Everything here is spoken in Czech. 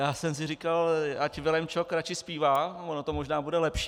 Já jsem si říkal, ať Vilém Čok radši zpívá, ono to možná bude lepší.